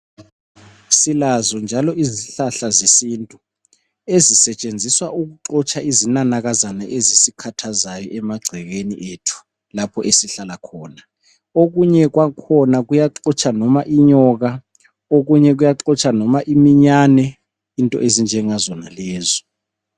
Silazo njalo izihlahla zesintu ezisetshenziswa ukuxotsha izinanakazana ezisikhathazayo emagcekeni ethu, lapho esihlala khona. Okunye kwakhona kuyaxotsha noma inyoka, okunye kuyaxotsha noma iminyane into ezinjengazonalezo.